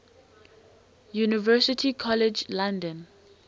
university college london